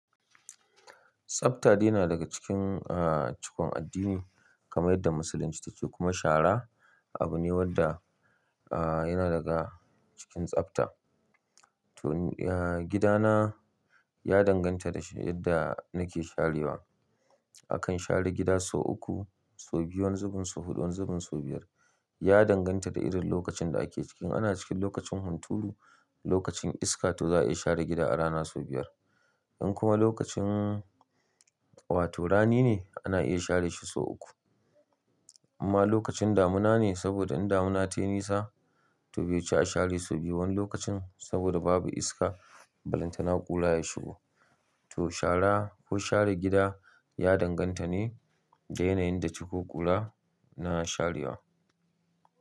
Tsafta dai na daga cikin, ah, cikon addini kamar yadda musulunci take kuma shara abu ne wanda, ah, yana daga cikin tsafta. To, ya, gidana ya danganta da yadda nake sharewa. Akan share gida sau uku, sau biyu, wanzubin sau huɗu, wanzubin sau biyar. Ya danganta da irin lokacin da ake cikin. Ana cikin lokacin hunturu, lokacin iska to za a iya share gida a rana sau biyar. In kuma lokacin wato rani ne ana iya share shi sau uku. Amma lokacin damuna ne saboda in damuna tayi nisa to bai ci a share sau biyu wani lokacin saboda babu iska, balantana ƙula ya shigo. To shara ko share gida ya danganta ne da yanayin da ciko kula na sharewa.